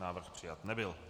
Návrh přijat nebyl.